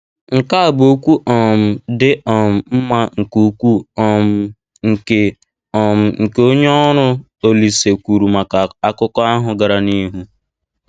Nkea a bụ okwu um dị um mma nke ukwuu um nke um nke onye ọrụ Olise kwuru maka akụkọ ahụ gara n'ihu